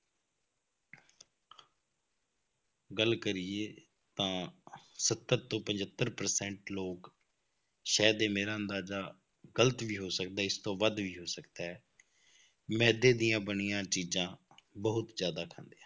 ਗੱਲ ਕਰੀਏ ਤਾਂ ਸੱਤਰ ਤੋਂ ਪਜੱਤਰ percent ਲੋਕ ਸ਼ਾਇਦ ਮੇਰਾ ਅੰਦਾਜ਼ਾ ਗ਼ਲਤ ਵੀ ਹੋ ਸਕਦਾ ਇਸ ਤੋਂ ਵੱਧ ਵੀ ਹੋ ਸਕਦਾ ਹੈ, ਮਿਹਦੇ ਦੀਆਂ ਬਣੀਆਂ ਚੀਜ਼ਾਂ ਬਹੁਤ ਜ਼ਿਆਦਾ ਖਾਂਦੇ ਆ।